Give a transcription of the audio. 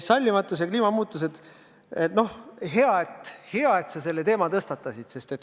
Sallimatus ja kliimamuutused – hea, et sa selle teema tõstatasid.